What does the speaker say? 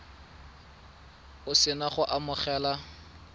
o se na go amogela